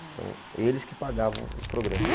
Então, eles que pagavam o programa.